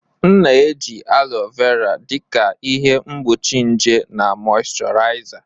M na-eji alo vera dị ka ihe mgbochi nje na mọịshọraịza.